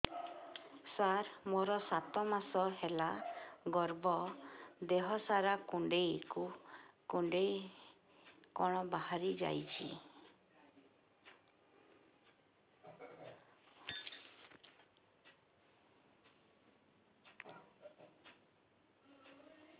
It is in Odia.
ସାର ମୋର ସାତ ମାସ ହେଲା ଗର୍ଭ ଦେହ ସାରା କୁଂଡେଇ କୁଂଡେଇ କଣ ବାହାରି ଯାଉଛି